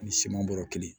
Ni siman bɔrɔ kelen